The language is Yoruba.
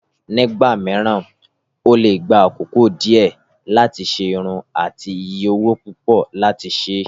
Nígbà mìíràn, ó lè gba àkókò díẹ̀ láti ṣe irun àti iye owó púpọ̀ láti ṣe.